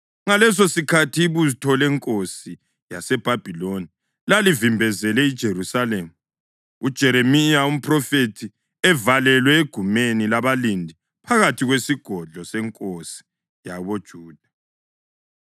Ngalesosikhathi ibutho lenkosi yaseBhabhiloni lalivimbezele iJerusalema, uJeremiya umphrofethi evalelwe egumeni labalindi phakathi kwesigodlo senkosi yakoJuda.